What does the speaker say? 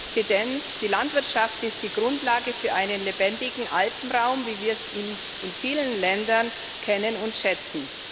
Herr Präsident! Die Landwirtschaft ist die Grundlage für einen lebendigen Alpenraum, wie wir ihn in vielen Ländern kennen und schätzen.